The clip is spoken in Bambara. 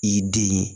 I den ye